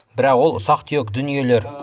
бірақ ол ұсақ түйек дүниелер